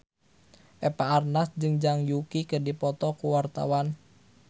Eva Arnaz jeung Zhang Yuqi keur dipoto ku wartawan